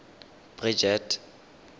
bridget